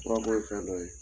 Furako ye fɛndɔ ye